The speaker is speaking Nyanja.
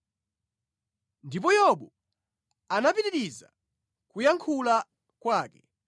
Ndipo Yobu anapitiriza kuyankhula kwake: